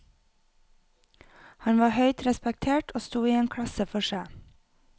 Han var høyt respektert og sto i en klasse for seg.